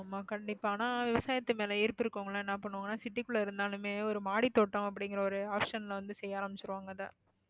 ஆமா கண்டிப்பா ஆனா விவசாயத்து மேல ஈர்ப்பு இருக்கிறவங்க எல்லாம் என்ன பண்ணுவாங்கன்னா city க்குள்ள இருந்தாலுமே ஒரு மாடித்தோட்டம் அப்படிங்கிற ஒரு option ல வந்து செய்ய ஆரம்பிச்சிருவாங்க அத